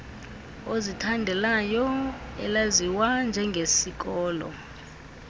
ozithandelayo elaziwa njengesikolo